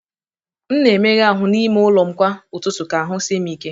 M na-emega ahụ́ n'ime ụlọ m kwa ụtụtụ ka ahụ́ sie m ike.